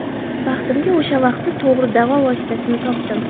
Baxtimga o‘sha vaqti to‘g‘ri davo vositasini topdim.